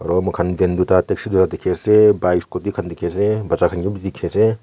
aru moikhan van tate dikhi ase khan dikhi ase bacha khan ke bi dikhi ase.